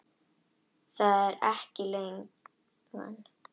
Það er ekki leigan.